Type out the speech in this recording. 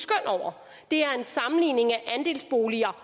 det er er en sammenligning af andelsboliger